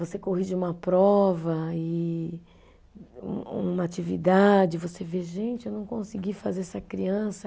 Você corrige uma prova e um uma atividade, você vê, gente, eu não consegui fazer essa criança